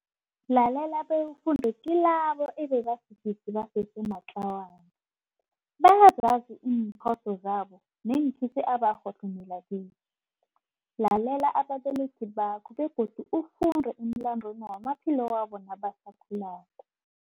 Lalela bewufunde kilabo ababasidisi basese matlawana. Bayazazi iimphoso zabo neenkhisi abarhohlomela kizo. Lalela ababelethi bakho begodu ufunde emlandweni wamaphilo wabo nabasakhulako.